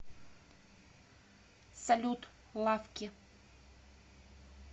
салют лаффки